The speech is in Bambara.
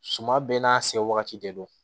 Suma bɛɛ n'a se wagati de don